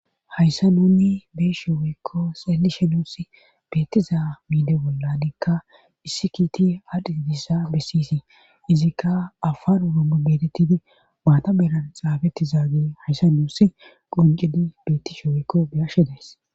hayssa nuni bee shewoykko sallishe nuusi beettiza miide bollanikka issi kiiti hadhiidissa bessiysi izikka afar urumbu betettidi maata beran xaafetti zaagi hayssa nuussi quncidi bettishe woykko beyashedays